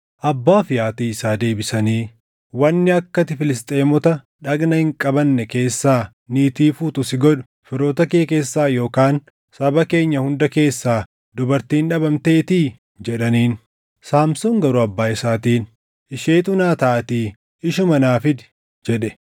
Abbaa fi haatii isaa deebisanii, “Wanni akka ati Filisxeemota dhagna hin qabanne keessaa niitii fuutu si godhu firoota kee keessaa yookaan saba keenya hunda keessaa dubartiin dhabamteetii?” jedhaniin. Saamsoon garuu abbaa isaatiin, “Isheetu naa taʼaatii ishuma naa fidi” jedhe.